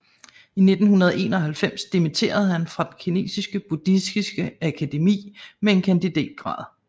I 1991 dimitterede han fra den kinesisk buddhistiske akademi med en kandidatgrad